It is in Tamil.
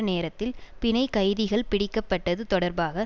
நேரத்தில் பிணைக்கைதிகள் பிடிக்கப்பட்டது தொடர்பாக